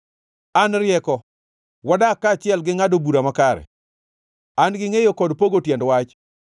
“An, rieko, wadak kaachiel gi ngʼado bura makare; an-gi ngʼeyo kod pogo tiend wach.